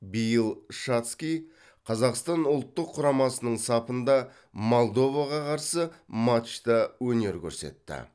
биыл шацкий қазақстан ұлттық құрамасының сапында молдоваға қарсы матчта өнер көрсетті